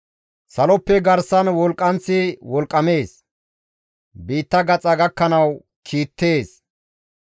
Saloppe garsan wolqqanththi wolqqamees; biitta gaxa gakkanawu kiittees.